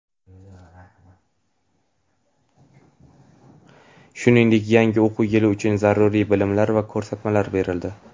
shuningdek yangi o‘quv yili uchun zaruriy bilimlar va ko‘rsatmalar berildi.